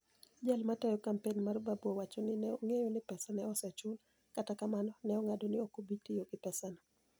Jal matayo kampeni mar Babu owacho nii ni e onig'eyo nii pesa ni e osechul, kata kamano, ni e onig'ado nii ok obi tiyo gi pesano.